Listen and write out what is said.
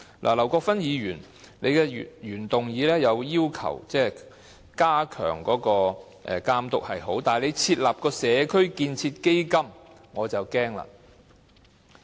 劉國勳議員的原議案要求加強區議會的監督角色，這是好的，但設立"社區建設基金"卻令我感到擔憂。